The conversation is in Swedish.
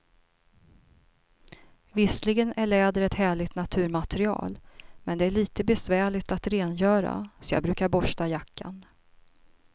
Visserligen är läder ett härligt naturmaterial, men det är lite besvärligt att rengöra, så jag brukar borsta jackan.